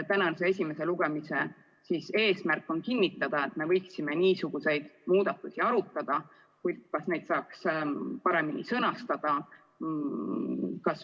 Tänase esimese lugemise eesmärk on kinnitada, et me võiksime niisuguseid muudatusi arutada, kuid ehk neid saaks paremini sõnastada.